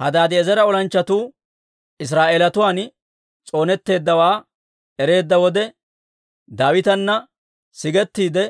Hadaadi'eezera olanchchatuu Israa'eelatuwaan s'oonetteeddawaa ereedda wode, Daawitana sigettiide,